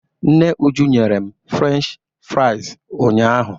Nne Uju nyere m Frensh fraịz ụnyaahụ.